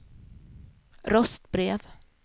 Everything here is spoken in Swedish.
röstbrev